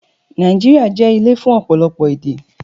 Nàìjíríà jẹ́ ilé fún ọ̀pọ̀lọpọ̀ èdè